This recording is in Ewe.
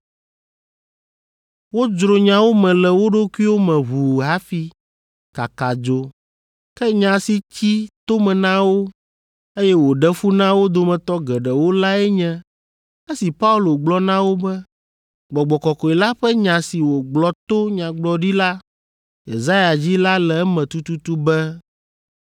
Wodzro nyawo me le wo ɖokuiwo me ʋuu hafi kaka dzo. Ke nya si tsi to me na wo, eye wòɖe fu na wo dometɔ geɖewo lae nye esi Paulo gblɔ na wo be, “Gbɔgbɔ Kɔkɔe la ƒe nya si wògblɔ to Nyagblɔɖila Yesaya dzi la le eme tututu be,